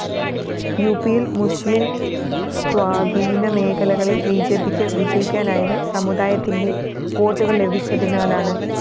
യുപിയില്‍ മുസ്ലിം സ്വാധീനമേഖലകളില്‍ ബിജെപിക്ക് വിജയിക്കാനായത് സമുദായത്തിന്റെ വോട്ടുകള്‍ ലഭിച്ചതിനാലാണ്